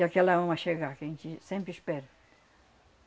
E aquela uma chegar, que a gente sempre espera.